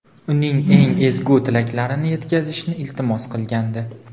uning eng ezgu tilaklarini yetkazishni iltimos qilgandi.